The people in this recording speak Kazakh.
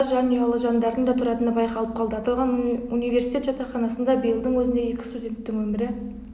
барысында жанұялы жандардың да тұратыны байқалып қалды аталған университет жатақханасында биылдың өзінде екі студенттің өмірі